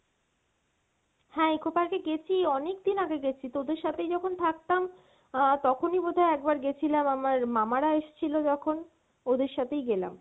হ্যাঁ Eco Park এ গেছি অনেকদিন আগে গেছি, তোদের সাথেই যখন থাকতাম আহ তখনই বোধহয় একবার গেছিলাম আমার মামারা এসছিল যখন ওদের সাথেই গেলাম